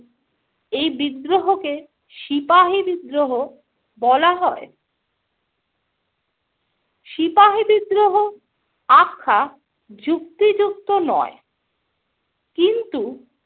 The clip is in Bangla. এই বিদ্রোহকে সিপাহী বিদ্রোহ বলা হয়। সিপাহী বিদ্রোহ আখ্যা যুক্তিযুক্ত নয় কিন্তু